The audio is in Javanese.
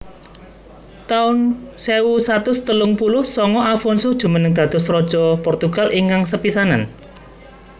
taun sewu satus telung puluh sanga Afonso jumeneng dados raja Portugal ingkang sepisanan